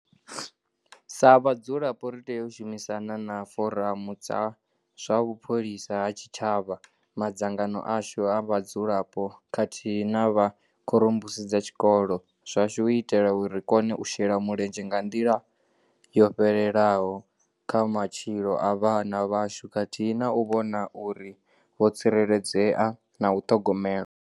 Sa vhadzulapo ri tea u shumisana na Foramu dza zwa Vhupholisa ha Tshitshavha, madzangano ashu a vhadzulapo khathihi na vha khorombusi dza zwikolo zwashu u itela uri ri kone u shela mulenzhe nga nḓila yo fhelelaho kha matshilo a vhana vhashu khathihi na u vhona uri vho tsireledzea na u ṱhogomelwa.